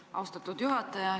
Aitäh, austatud juhataja!